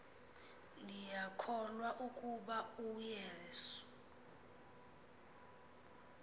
ndiyakholwa ukuba uyesu